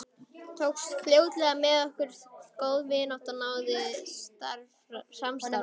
Tókst fljótlega með okkur góð vinátta og náið samstarf.